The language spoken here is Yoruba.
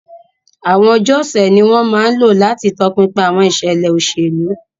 Àwọn ọjọ́ ọ̀sẹ̀ ni wọ́n máa ń lò láti tọpinpin àwọn ìṣẹ̀lẹ̀ òṣèlú.